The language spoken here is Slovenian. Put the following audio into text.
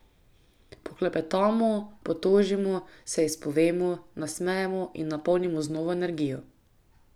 Poklepetamo, potožimo, se izpovemo, nasmejemo in napolnimo z novo energijo.